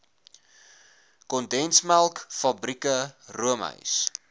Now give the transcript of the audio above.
kondensmelk fabrieke roomys